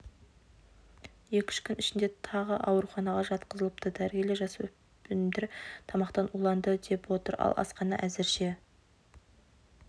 екі күн ішінде тағы ауруханаға жатқызылыпты дәрігерлер жасөспірімдер тамақтан уланды деп отыр ал асхана әзірше